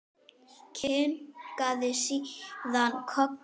Kinkaði síðan kolli.